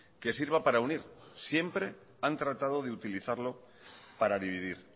que sirva para unir siempre han tratado de utilizarlo para dividir